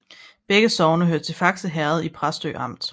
Begge sogne hørte til Fakse Herred i Præstø Amt